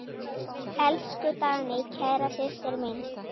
Elsku Dagný, kæra systir mín.